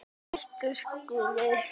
Ég brosi til þín.